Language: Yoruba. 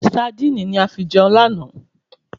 Saandíìnì ni a fi jeun lana